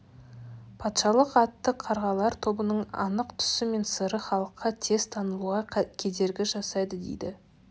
патшалық атты қарғалар тобының анық түсі мен сыры халыққа тез танылуға кедергі жасайды деді